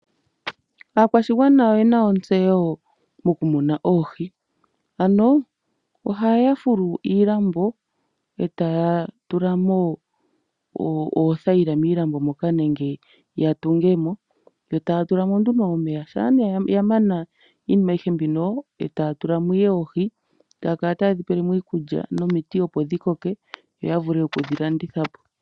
Aakwashigwana oyena ontseyo mokumuna oohi. Ano oha ya fulu iilambo eta ya tula mo oothayila miilambo moka nenge ya tunge mo yo taya tula mo nduno omeya. Shampa nduno ya mana iinima ayihe mbino ohaya tula mo oohi eta ya kala taye dhi tulile mo iikulya nomiti yo ya vule okudhi landitha po.